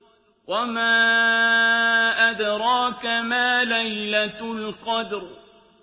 وَمَا أَدْرَاكَ مَا لَيْلَةُ الْقَدْرِ